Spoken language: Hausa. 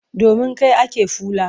Domin kai ake fula.